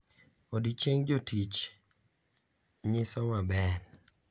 Odiechieng jotich nyiso maber.